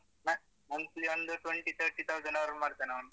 Ma~ monthly ಒಂದು twenty thirty thousand earn ಮಾಡ್ತಾನವ್ನು.